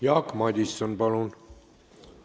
Jaak Madison, palun!